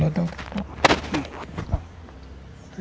Não, não.